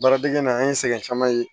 Baaradege na an ye sɛgɛn caman ye